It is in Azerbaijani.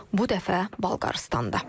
Bu dəfə Bolqarıstanda.